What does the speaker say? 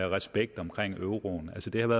respekt omkring euroen altså det